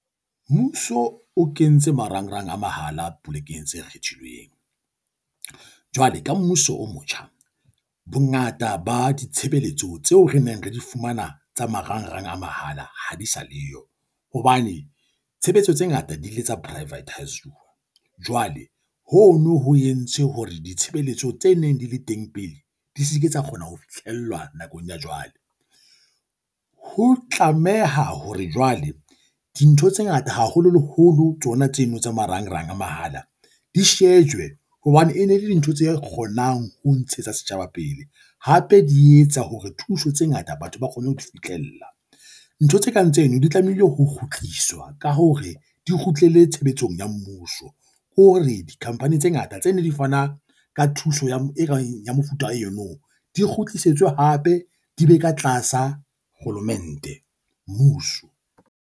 Mmuso o kentse marangrang a mahala polekeng tse kgethilweng, jwale ka mmuso o motjha bongata ba ditshebeletso tseo re neng re di fumana tsa marangrang a mahala ha di sa leyo, hobane tshebetso tse ngata di ile tsa privatize-uwa. Jwale hono ho entse hore ditshebeletso tse neng di le teng pele di se ke tsa kgona ho fitlhellwa nakong ya jwale, ho tlameha hore jwale dintho tse ngata, haholoholo tsona tseno tsa marangrang a mahala di shejwe hobane e ne le dintho tse kgonang ho ntshetsa setjhaba pele, hape di etsa hore thuso tse ngata batho ba kgone ho di fihlella. Ntho tse kang tseno di tlamehile ho kgutliswa ka hore di kgutlele tshebetsong ya mmuso hore di-company tse ngata tse ne di fanang ka thuso ya mofuta eno di kgutlisetswe hape di be ka tlasa kgolomente, mmuso.